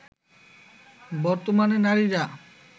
বর্তমানে নারীরা